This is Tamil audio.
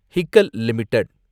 ஹிக்கல் லிமிடெட்